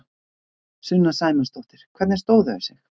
Sunna Sæmundsdóttir: Hvernig stóðu þau sig?